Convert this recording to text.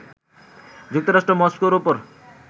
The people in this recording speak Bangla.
যুক্তরাষ্ট্র মস্কোর ওপর